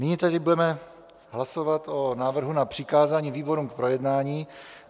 Nyní tedy budeme hlasovat o návrhu na přikázání výborům k projednání.